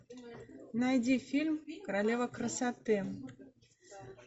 найди фильм королева красоты